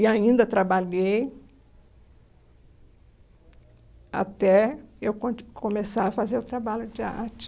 E ainda trabalhei até eu conti começar a fazer o trabalho de arte.